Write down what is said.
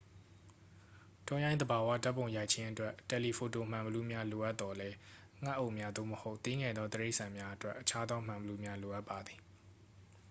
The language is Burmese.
တောရိုင်းသဘာဝဓာတ်ပုံရိုက်ခြင်းအတွက် တယ်လီဖိုတိုမှန်ဘီလူးများလိုအပသော်လည်း ငှက်အုပ်များ သို့မဟုတ် သေးငယ်သောတိရစ္ဆာန်များအတွက် အခြားသောမှန်ဘီလူးများလိုအပ်ပါသည်